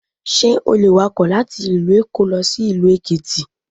Sé o le wakò láti ìlú Èkó lọ sí ìlú Èkìtì